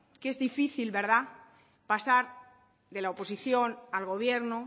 que es difícil verdad pasar de la oposición al gobierno